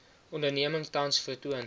onderneming tans vertoon